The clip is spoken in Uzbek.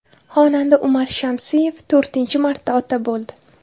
Xonanda Umar Shamsiyev to‘rtinchi marta ota bo‘ldi .